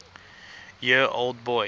year old boy